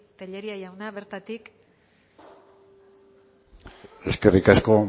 tellería jauna bertatik eskerrik asko